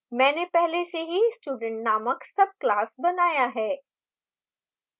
मैंने पहले से ही student नामक subclass बनाया है